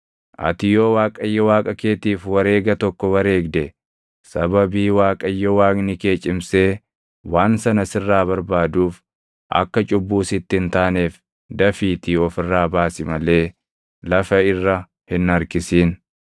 Ati yoo Waaqayyo Waaqa keetiif wareega tokko wareegde, sababii Waaqayyo Waaqni kee cimsee waan sana sirraa barbaaduuf akka cubbuu sitti hin taaneef dafiitii of irraa baasi malee lafa irra hin harkisin.